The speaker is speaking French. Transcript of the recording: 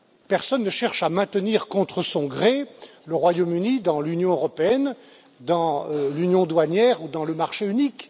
Personne ne cherche à maintenir contre son gré le Royaume Uni dans l'Union européenne, dans l'union douanière ou dans le marché unique.